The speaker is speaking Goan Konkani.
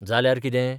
जाल्यार कितें?